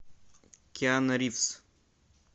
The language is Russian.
киану ривз